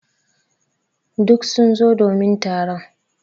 Duk sun zo domin taron.